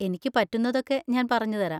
എനിക്ക് പറ്റുന്നതൊക്കെ ഞാൻ പറഞ്ഞുതരാം.